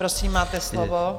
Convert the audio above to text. Prosím, máte slovo.